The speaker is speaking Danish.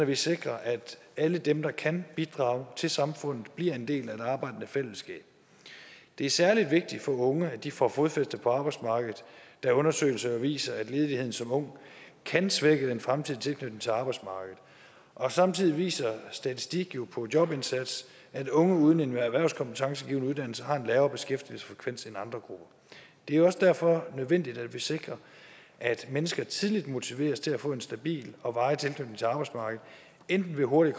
vi sikrer at alle dem der kan bidrage til samfundet bliver en del af det arbejdende fællesskab det er særlig vigtigt for unge at de får fodfæste på arbejdsmarkedet da undersøgelser jo viser at ledighed som ung kan svække den fremtidige tilknytning til arbejdsmarkedet og samtidig viser statistik på jobindsats at unge uden en erhvervskompetencegivende uddannelse har en lavere beskæftigelsesfrekvens end andre grupper det er også derfor nødvendigt at vi sikrer at mennesker tidligt motiveres til at få en stabil og varig tilknytning til arbejdsmarkedet enten ved hurtigt